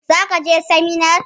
Zaka je sinimar?